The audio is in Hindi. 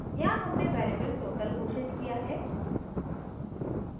यहाँ हमने variable total घोषित किया है